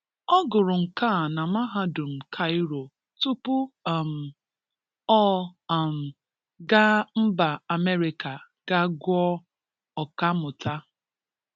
Ọ gụrụ Nka na Mahadụm Kaịro tụpụ um ọ um ga mba Amerịka ga gụọ ọkamụta.